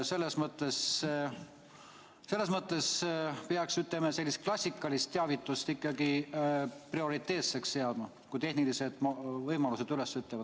Selles mõttes peaks, ütleme, sellist klassikalist teavitust ikkagi prioriteetseks pidama, kui tehnilised võimalused üles ütlevad.